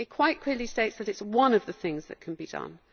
It quite clearly states that it is one of the things that can be done.